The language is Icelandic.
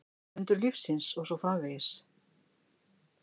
Undur lífsins og svo framvegis.